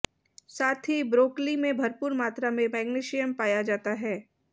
साथ ही ब्रॉकली में भरपूर मात्रा में मैग्नीशियम पाया जाता है